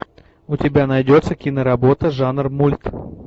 у тебя найдется киноработа жанр мульт